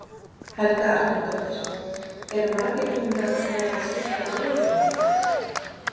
Helga Arnardóttir: Eru margir búnir að vera að skipta jólagjöfunum?